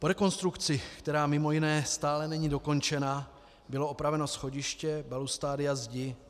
Po rekonstrukci, která mimo jiné stále není dokončena, bylo opraveno schodiště, balustrády a zdi.